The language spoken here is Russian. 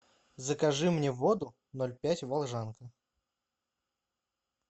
закажи мне воду ноль пять волжанка